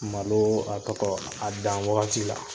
Malo a tɔtɔ a dan wagati la.